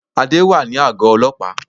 Adé wà ní àgó ọlọ́pàá